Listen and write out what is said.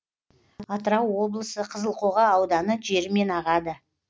атырау облысы қызылқоға ауданы жерімен ағады